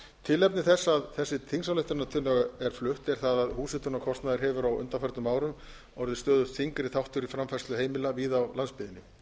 tilefni þess að þessi þingsályktunartillaga er flutt er það að húshitunarkostnaður hefur á undanförnum árum orðið stöðugt þyngri þáttur í framfærslu heimila víða á landsbyggðinni